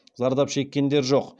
зардап шеккендер жоқ